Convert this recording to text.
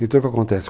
Então o que acontece?